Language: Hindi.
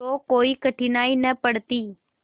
तो कोई कठिनाई न पड़ती